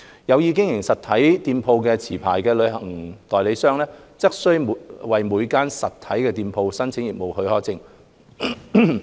有意經營實體店鋪的持牌旅行代理商，則須為每間實體店鋪申請業務許可證。